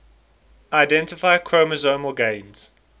identify chromosomal gains